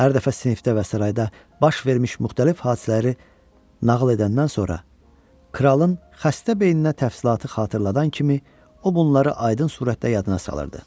Hər dəfə sinifdə və sarayda baş vermiş müxtəlif hadisələri nağıl edəndən sonra kralın xəstə beyninə təfsilatı xatırladan kimi o bunları aydın surətdə yadına salırdı.